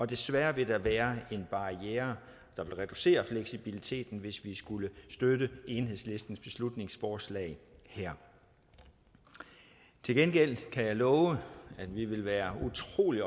desværre vil der være en barriere der vil reducere fleksibiliteten hvis vi skulle støtte enhedslistens beslutningsforslag her til gengæld kan jeg love at vi vil være utrolig